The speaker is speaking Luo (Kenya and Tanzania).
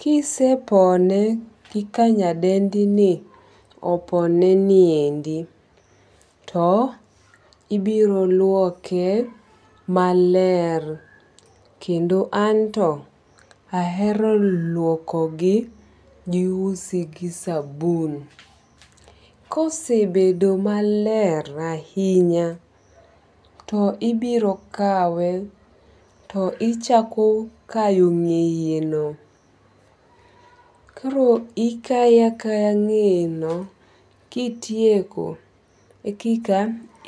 ka isepone kaka nyadendini opone ni endi to ibiro luoke maler, kendo anto ahero luokogi usi gi sabun. Ka osebedo maler ahinya to ibiro kawe to ichako kayo ng'eyeno. Koro ikaye akaya ng'eyeno kitieko koro eka